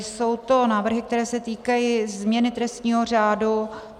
Jsou to návrhy, které se týkají změny trestního řádu.